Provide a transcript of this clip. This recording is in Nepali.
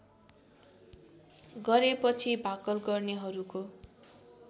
गरेपछि भाकल गर्नेहरूको